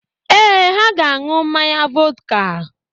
Ee, ha ga-aṅụ mmanya vọdka.